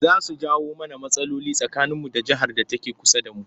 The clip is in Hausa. Za su jawo mana rmatsaloli tsakaninmu da jihar da take kusa da mu